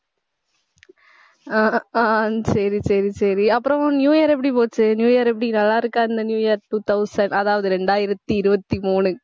ஆஹ் ஆஹ் சரி, சரி, சரி அப்புறம் new year எப்படி போச்சு new year எப்படி நல்லா இருக்கு இந்த new year two thousand அதாவது இரண்டாயிரத்தி இருபத்தி மூணு